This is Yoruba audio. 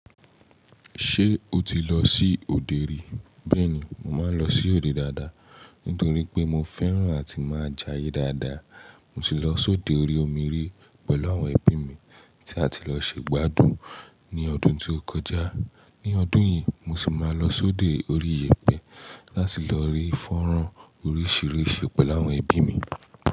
Ṣé o ti lọ sí òde ri? Bẹ́ẹ̀ni, mo máa ń lọ sí òde dáadáa, nítorí pé mo fẹ́ràn àti máa jáye dáadáa. Mo sì lọ sóde orí omi rí pẹ̀lú àwọn ẹbí mi tí a ti lọ ṣe gbádùn ní ọdún tó kọjá. Ní ọdún yìí, mo sì máa lọ sóde orí iyẹ̀pẹ̀ láti lọ rí fọ́nrán oríṣìíríṣìí pẹ̀lú àwọn ẹbí mi.